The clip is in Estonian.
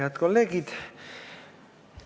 Head kolleegid!